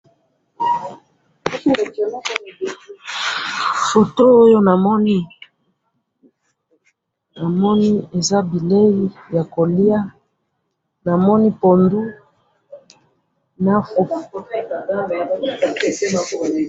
foto oyo namoni ,namoni eza bileyi ya koliya namoni pundu na fufu